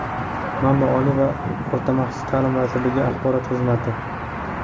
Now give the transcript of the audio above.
Manba: Oliy va o‘rta maxsus ta’lim vazirligi axborot xizmati.